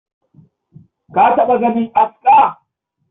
Ka taɓa ganin aska?